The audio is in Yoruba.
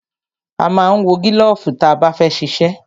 A ma ń wọ gílọ̀fù ta bá fẹ́ ṣiṣẹ́.